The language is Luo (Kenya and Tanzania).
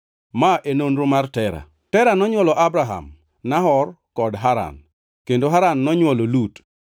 Ma e nonro mar Tera. Tera nonywolo Abram, Nahor kod Haran. Kendo Haran nonywolo Lut.